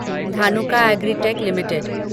Dhanuka Agritech limited